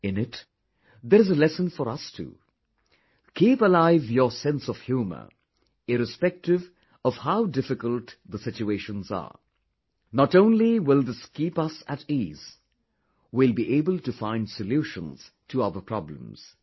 In it there is a lesson for us too... keep alive your sense of humour irrespective of how difficult the situations are, not only will this keep us at ease; we will be able to find solutions to our problems